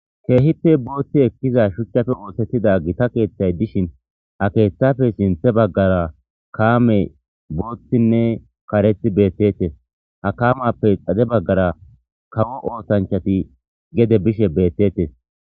Keehippe booththi ekkiza shuchchafe oosettida gita keeththay dishin ha keeththafe sinthe baggara kaame booththinne karethi beettettese. Ha kaamappe xade baggara kawo oosanchati gede bishe beettettes.